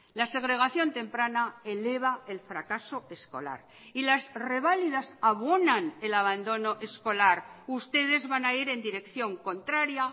la segregación temprana eleva el fracaso escolar y las reválidas abonan el abandono escolar ustedes van a ir en dirección contraria